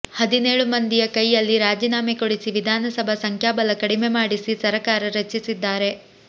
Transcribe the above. ಹದಿನೇಳು ಮಂದಿಯ ಕೈಯಲ್ಲಿ ರಾಜೀನಾಮೆ ಕೊಡಿಸಿ ವಿಧಾನಸಭೆ ಸಂಖ್ಯಾಬಲ ಕಡಿಮೆ ಮಾಡಿಸಿ ಸರಕಾರ ರಚಿಸಿದ್ದಾರೆ